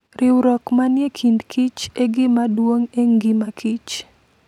Riwruok manie kind kich e gima duong' e ngima kich.